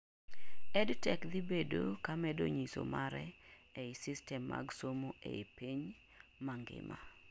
EDTech dhi bedo ka medo nyiso mare ei system mag somo ei pinj mangima